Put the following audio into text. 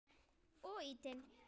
Og ýtinn.